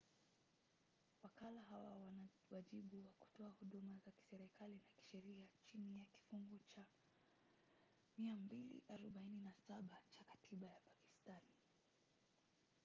wakala hawa wana wajibu wa kutoa huduma za kiserikali na kisheria chini ya kifungu cha 247 cha katiba ya pakistani